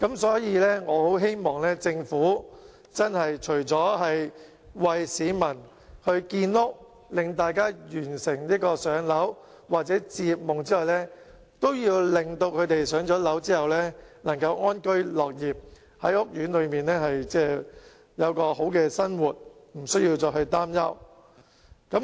所以，我很希望政府除了為市民建屋，讓大家完成"上樓"或置業夢之外，亦要令他們在"上樓"之後能夠安居樂業，在屋苑有好的生活，無須再擔憂。